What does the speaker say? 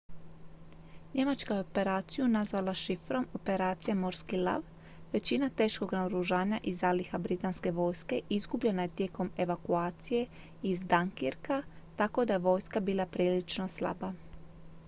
"njemačka je operaciju nazvala šifrom "operacija morski lav"". većina teškog naoružanja i zaliha britanske vojske izgubljena je tijekom evakucija iz dunkirka tako da je vojska bila prilično slaba.